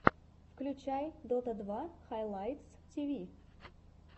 включай дота два хайлайтс тиви